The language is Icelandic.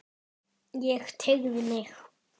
Ég teygði mig.